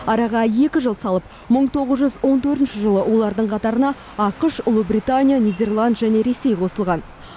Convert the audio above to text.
араға екі жыл салып мың тоғыз он төртінші жылы олардың қатарына ақш ұлыбритания нидерланд және ресей қосылған